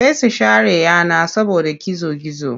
Sai su share yana saboda gizo-gizo.